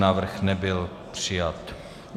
Návrh nebyl přijat.